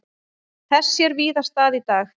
Þess sér víða stað í dag.